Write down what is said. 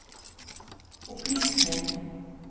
opplysning